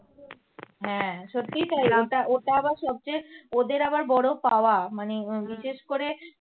হ্যাঁ সত্যিই তাই নামটা ওটা আবার সবচেয়ে ওদের আবার বড় পাওয়া মানে বিশেষ করে